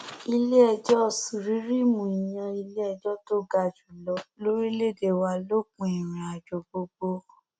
iléẹjọ suríríímù ìyẹn iléẹjọ tó ga jù lọ lórílẹèdè wa lópin ìrìn àjọ gbogbo